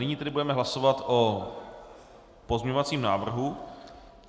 Nyní tedy budeme hlasovat o pozměňovacím návrhu.